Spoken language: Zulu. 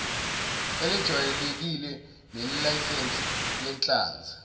elejwayelekile nelesayensi lenhlanzi